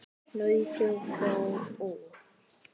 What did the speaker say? Nauðug fór hún.